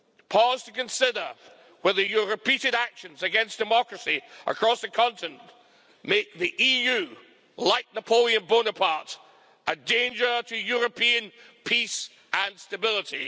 Pause to consider whether your repeated actions against democracy across the continent make the EU, like Napoleon Bonaparte, a danger to European peace and stability.